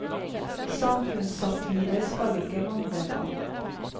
Samfunnssatire skal det ikke mangle på.